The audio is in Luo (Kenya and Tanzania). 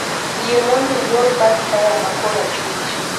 Yie mondo ilor bath taya ma korachwich